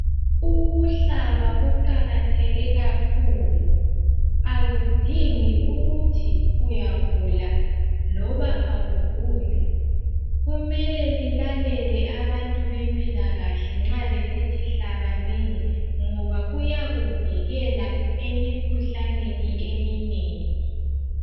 Ukuhlaba kuqakatheke kakhulu akudingi ukuthi uyagula loba awuguli. Kumele lilale abantu bempilakahle nxa besithi hlabanini ngoba kuyakuvikela emkhuhlaneni eminengi.